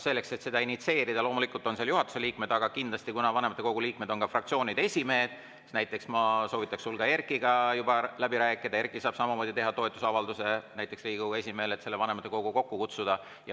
Selleks, et seda initsieerida – loomulikult on seal juhatuse liikmed, aga kindlasti on vanematekogu liikmed ka fraktsioonide esimehed –, näiteks ma soovitaksin sul Erkkiga läbi rääkida, Erkki saab samamoodi teha avalduse näiteks Riigikogu esimehele, et vanematekogu kokku kutsuda.